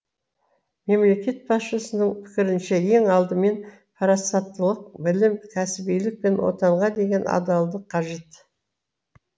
мемлекет басшысының пікірінше ең алдымен парасаттылық білім кәсібилік пен отанға деген адалдық қажет